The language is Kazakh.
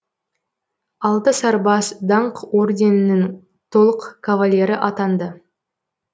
алты сарбаз даңқ орденінің толық кавалері атанды